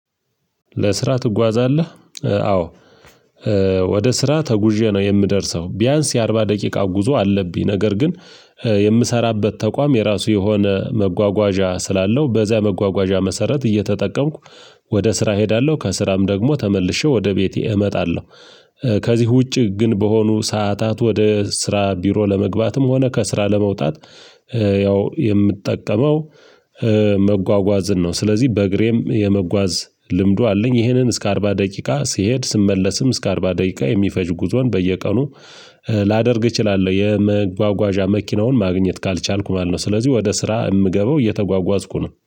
ለስራ ትጓዛለህ? አዎ ወደ ስራ ተጉዤ ነው የምደርሰው ቢያንስ የአርባ ደቂቃ ጉዞ አለብኝ። ነገር ግን የምሰራበት ተቋም የራሱ የሆነ መጓጓዣ ስላለው በዚያ መጓጓዣ መሰረት እየተጠቀምኩ ወደ ስራ እሄዳለሁ ከስራም ደግሞ ተመልሼ ወደ ቤቴ እመጣለሁ። ከዚህ ውጪ ግን በሆኑ ሰዓታት ወደ ስራ ቢሮ ለመግባትም ሆነ ከስራ ለመውጣት ያው የምጠቀመው መጓጓዝን ነው። ስለዚህ በእግሬም የመጓዝ ልምዱ አለኝ ይሄንን እስከ አርባ ደቂቃ ሲሄድ ስመለስም እስከ አርባ ደቂቃ የሚፈጅ ጉዞን በየቀኑ ላደርግ እችላለሁ። የመጓጓዣ መኪናውን ማግኘት ካልቻልኩ ማለት ነው። ስለዚህ ወደ ስራ የምገበው እየተጓጓዝኩ ነው